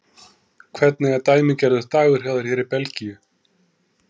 Hvernig er dæmigerður dagur hjá þér hér í Belgíu?